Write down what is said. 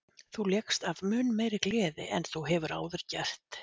Þú lékst af mun meiri gleði en þú hefur áður gert.